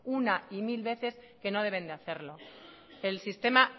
una y mil veces que no deben de hacerlo el sistema